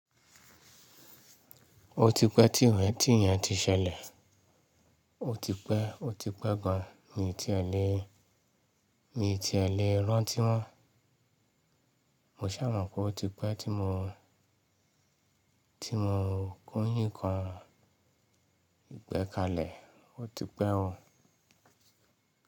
Ó ti pẹ́ tíyẹ́n tíyẹ́n ti ṣẹlẹ̀. Ó ti pẹ́, ó ti pẹ́ gan, mi ò tí è lè, mi ò tí è lè rántí mọ́n. Mo ṣà mọ̀ pé ó ti pẹ́ tí mo, tí mo kún yìǹkan. Ìgbẹ́kalẹ̀, ó ti pẹ́ o.